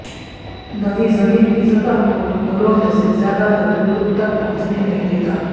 دوی زمین کی سطح کو گولوں میں سے زیادہ تر بالکل تک پہنچنے نہیں دیتا